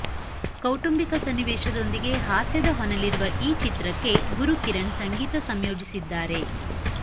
ಕೌಟುಂಬಿಕ ಸನ್ನಿವೇಶದೊಂದಿಗೆ ಹಾಸ್ಯದ ಹೊನಲಿರುವ ಈ ಚಿತ್ರಕ್ಕೆ ಗುರುಕಿರಣ್ ಸಂಗೀತ ಸಂಯೋಜಿಸಿದ್ದಾರೆ